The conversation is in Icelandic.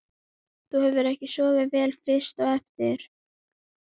Þú hefur ekki sofið vel fyrst á eftir?